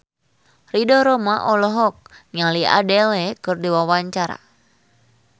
Ridho Roma olohok ningali Adele keur diwawancara